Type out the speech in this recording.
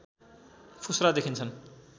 फुस्रा देखिन्छन्